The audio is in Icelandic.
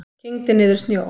Kyngdi niður snjó.